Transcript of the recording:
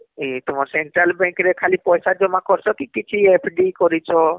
ଏ ତୁମର central bank ରେ ଖାଲି ପଇସା ଜମା କରିଛ କି କିଛି FD କରିଛ